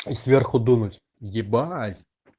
и сверху дунуть ебать